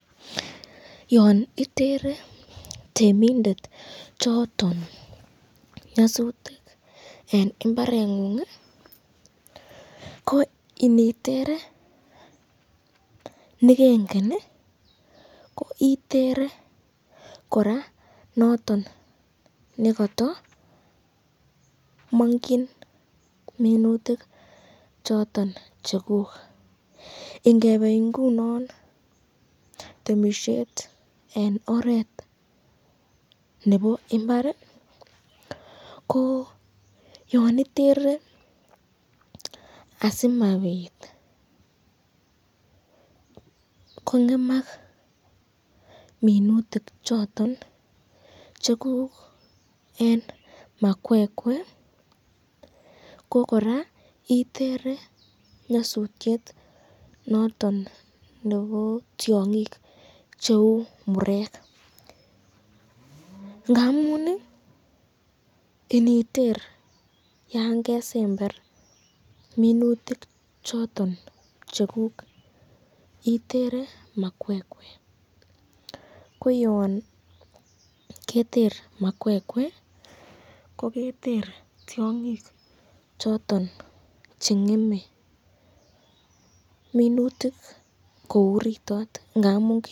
Yon itere temindet choton nyasutik en mbareng'ung ko initere ne kengen ko itere kora noton ne kotomong'ing minutik choton cheguk. Ingebe ingunon temisiet en oret nebo imbar, koyon itere asimabit kong'emak minutik choton cheguk en makwekwe ko kora itere nyasutiet noton nebo tiong'ik cheu murek ngamun ii, initer yan kesember minutik choton cheguk itere makwekwe ko yon keter makwekwe koketer tiong'ik choton che ng'eme minutik ko uritot.